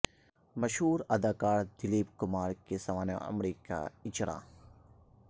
مشہور اداکار دلیپ کمار کی سوانح عمری کا اجراء